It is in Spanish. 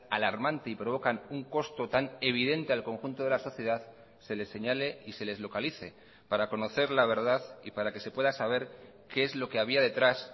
alarmante y provocan un costo tan evidente al conjunto de la sociedad se les señale y se les localice para conocer la verdad y para que se pueda saber qué es lo que había detrás